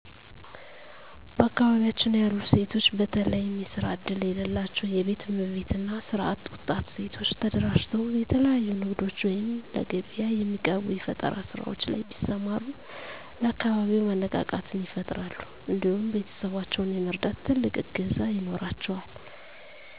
በአካባቢያችን ያሉ ሴቶች በተለየም የስራ እድል የለላቸው የቤት እመቤት እና ስራ አጥ ወጣት ሴቶች ተደራጅተው የተለያዩ ንግዶች ወይም ለገቢያ የሚቀርቡ የፈጠራ ስራዎች ላይ ቢሰማሩ ለአካባቢው መነቃቃትን ይፈጥራሉ እንዲሁም ቤተሰባቸውን የመርዳት ትልቅ እገዛ ይኖራቸዋል።